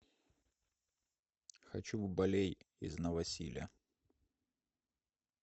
хочу в балей из новосиля